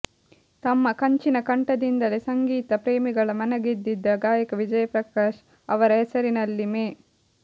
ತಮ್ಮ ಕಂಚಿನ ಕಂಠದಿಂದಲೇ ಸಂಗೀತ ಪ್ರೇಮಿಗಳ ಮನಗೆದ್ದಿದ್ದ ಗಾಯಕ ವಿಜಯ್ ಪ್ರಕಾಶ್ ಅವರ ಹೆಸರಿನಲ್ಲಿ ಮೇ